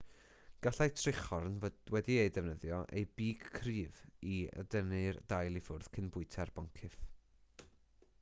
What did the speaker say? gallai trichorn fod wedi defnyddio ei big cryf i dynnu'r dail i ffwrdd cyn bwyta'r boncyff